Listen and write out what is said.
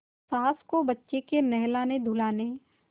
सास को बच्चे के नहलानेधुलाने